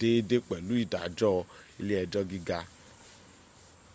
deede pelu idajo ile ejo giga